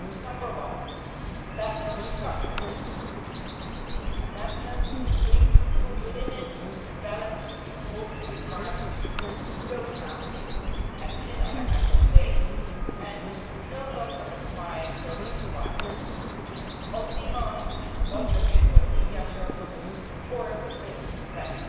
Number one balanced coverage. The amendments agreed would limit the balanced reporting requirements to broadcasting, as in other Member States, and would no longer apply those requirements to on demand audiovisual media services or the written press.